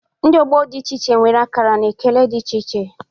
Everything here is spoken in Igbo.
Ndị ọgbọ dị iche iche nwere akara na ekele dị iche iche